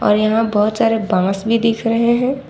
और यहां बहोत सारे बॉस भी दिखाई दे रहे हैं।